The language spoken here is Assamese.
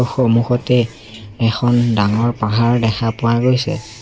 সমুখতে এখন ডাঙৰ পাহাৰ দেখা পোৱা গৈছে।